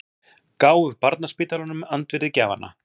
Gáfu barnaspítalanum andvirði gjafanna